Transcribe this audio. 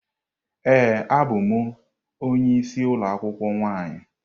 Ee, abụ m onye isi ụlọ akwụkwọ nwaanyị.